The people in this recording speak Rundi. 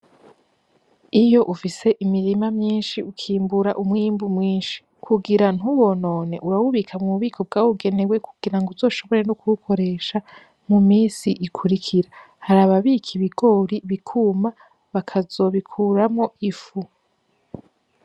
Iyo ufise imirima myinshi ukimbura umwimbu mwinshi, kugira ntuwonone wewe ubika m'ububiko bwabugenewe kugira uzoshobore kuwukoresha mu minsi ikurikira. Hari ababika ibigori bikuma bakazo bikuramo ifu.